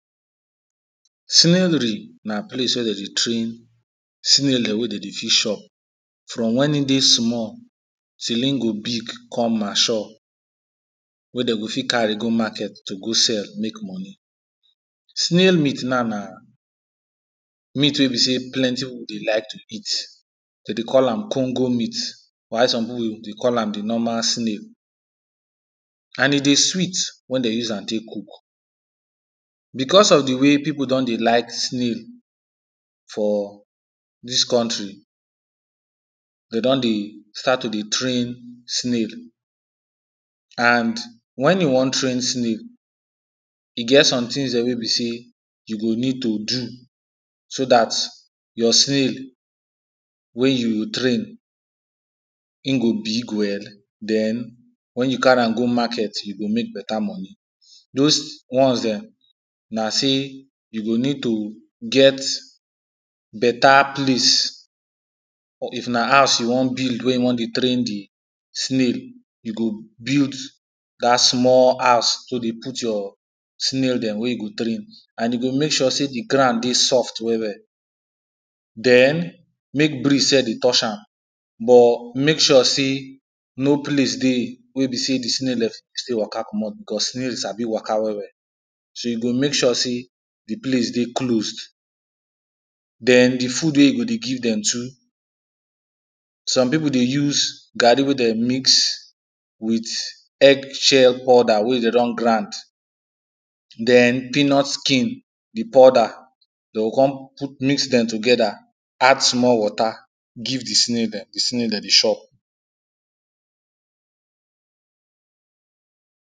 Snailry na place wey dem dey train snail dem wey dem dey fit chop from wen e dey small till im go big come mature wey dem go fit carry go market, to go sell, make money. Snail meat na, na meat wey be say plenty people dey like to eat. Dem dey call am congo meat while some people dey call am di normal snail and e dey sweet wen dem use am take cook. Because of di way people don dey like snail, for dis country, dey don dey start to dey train snail, and wen you wan train snail, e get some things dem wey be say you go need to do, so dat your snail wey you train, im go big well, den wen you carry am go market you go make better money, those ones dem, na say you go need to get better place, or if na house you wan build wen you wan dey train di snail, you go build dat small house to dey put your snail dem wen you dey train and you go make sure say di ground dey soft well well, den make breeze sef dey touch am, but make sure say, no place dey wey be say di snail dem go fit waka komot. Because snail sabi waka well well, shey you go make sure say, di place dey closed, den di food wey you go dey give dem too, some people dey use garri wey dem mix with eggshell powder wey dem don grind, den peanut skin di podder, dem go come mix dem together, add small water. Give di snail dem, di snail dem dey chop